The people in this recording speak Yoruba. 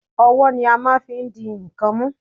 Owó ni a máa n fi n di ń kan mú